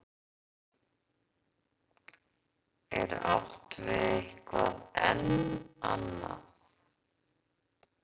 Er átt við eitthvað enn annað?